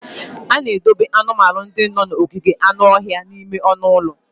A na-edobe anụmanụ ndị nọ n'ogige anụ ọhịa n'ime ọnụ ụlọ.